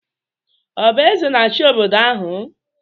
Ọ bụ eze na-achị obodo ahụ?